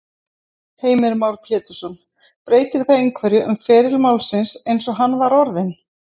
Heimir Már Pétursson: Breytir það einhverju um feril málsins eins og hann var orðinn?